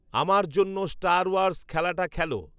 আমার জন্য Star Wars খেলাটা খেল